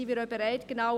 Wir sind bereit dazu.